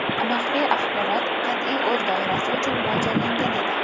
Maxfiy axborot qat’iy o‘z doirasi uchun mo‘ljallangan edi.